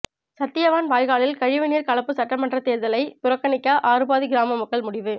சத்தியவான் வாய்க்காலில் கழிவுநீர் கலப்பு சட்டமன்ற தேர்தலை புறக்கணிக்க ஆறுபாதி கிராம மக்கள் முடிவு